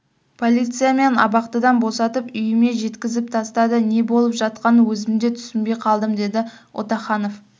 полиция мені абақтыдан босатып үйіме жеткізіп тастады не болып жатқанын өзім де түсінбей қалдым деді отаханов